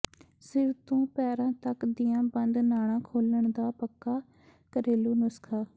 ਸਿਰ ਤੋਂ ਪੈਰਾਂ ਤੱਕ ਦੀਆਂ ਬੰਦ ਨਾੜਾਂ ਖੋਲਣ ਦਾ ਪੱਕਾ ਘਰੇਲੂ ਨੁਸਖਾ